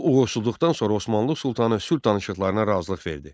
Bu uğursuzluqdan sonra Osmanlı sultanı sülh danışıqlarına razılıq verdi.